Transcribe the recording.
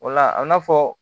O la a bi na fɔ